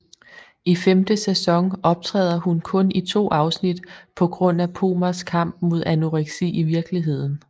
I femte sæson optræder hun kun i to afsnit på grund af Pomers kamp mod anoreksi i virkeligheden